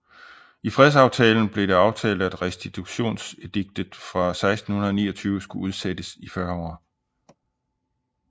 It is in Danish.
I fredsaftalen blev det aftalt at Restitutionsediktet fra 1629 skulle udsættes i 40 år